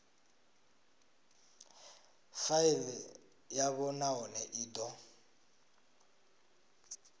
faili yavho nahone i do